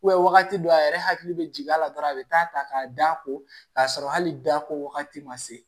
wagati dɔw a yɛrɛ hakili bɛ jigin a la dɔrɔn a bɛ taa ta k'a d'a kɔ k'a sɔrɔ hali dako wagati ma se